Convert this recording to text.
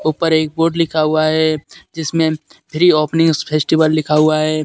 उपर एक बोर्ड लिखा हुआ है जिसमें फ्री ओपनिंग फेस्टिवल लिखा हुआ है.